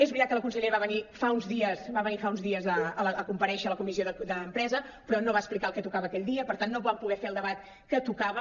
és veritat que la consellera va venir fa uns dies a comparèixer a la comissió d’empresa però no va explicar el que tocava aquell dia per tant no vam poder fer el debat que tocava